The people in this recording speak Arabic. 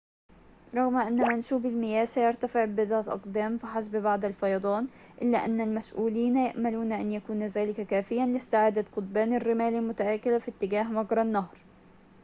رغم أن منسوب المياه سيرتفع بضعة أقدام فحسب بعد الفيضان إلا أن المسؤولين يأملون أن يكون ذلك كافياً لاستعادة قضبان الرمال المتآكلة في اتجاه مجرى النهر